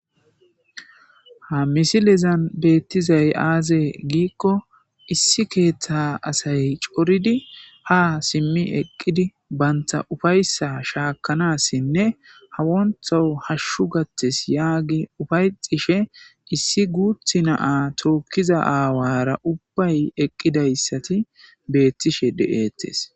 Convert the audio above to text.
Ha misilezan beettizay aazee giikko issi keeththa asay coridi ha simmi eqqidi banta ufayssa shaakanassinne hawontho hashshu gattes yaagi ufayxishe issi guuthi naa tookkiza aawara ubbay eqqidayssati beettishe de'eettes.